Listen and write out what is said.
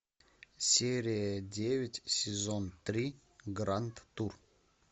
серия девять сезон три гранд тур